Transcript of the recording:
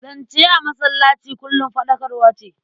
Zance a masallaci kullum faɗakarwa ce.